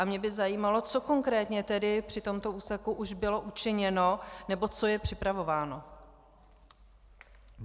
A mě by zajímalo, co konkrétně tedy při tomto úseku už bylo učiněno nebo co je připravováno.